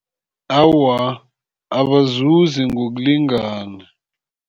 Awa, abazuzi ngokulingana.